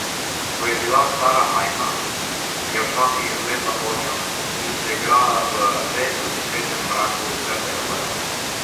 Ko je bila Klara majhna, je včasih zlezla podnjo in se igrala v rezko dišečem mraku trdega blaga.